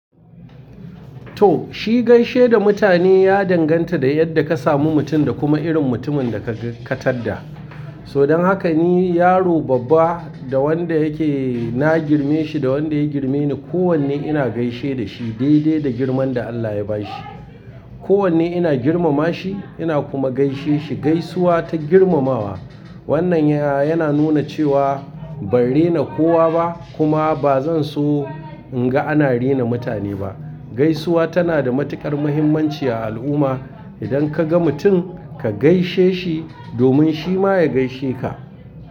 To, shi gaishe da mutane ya danganta da yadda ka samu mutum da kuma irin mutumin da ka taddada. Todan haka ni yaro babba da wanda yake na girmeshi da wanda ya girmeni. Ko wanne ina gaishe da shi dai dai da girman da Allah ya bashi. Ko wanne ina girmamashi ina kuma gaishe shi. Gaisuwa ta girmamawa. Wannan ya yana nuna cewa ban rena kowa ba kuma ba zan so in ga ana rena mutane ba. Gaisuwa tana da matuƙar muhimmanci a al'umma. Idan ka ga mutum ka gaishe shi domin shi ma ya gaishe ka.